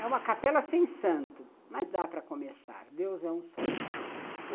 É uma capela sem santo, mas dá para começar, Deus é um só.